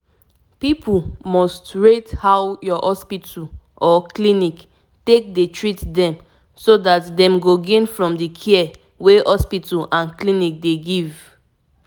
to tell you the truth learning more about walking e don make me change the way i dey do things everyday.